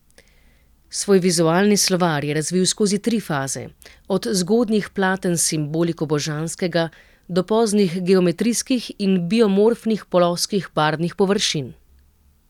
Svoj vizualni slovar je razvil skozi tri faze, od zgodnjih platen s simboliko božanskega do poznih geometrijskih in biomorfnih ploskih barvnih površin.